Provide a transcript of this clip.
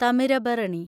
Thamirabarani